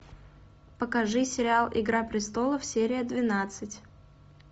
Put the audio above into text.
покажи сериал игра престолов серия двенадцать